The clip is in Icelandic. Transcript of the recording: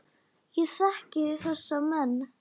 Ég þekki þessa menn.